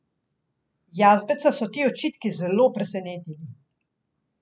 Jazbeca so ti očitki zelo presenetili.